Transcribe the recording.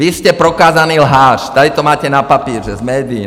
Vy jste prokázaný lhář, tady to máte na papíře, z médií.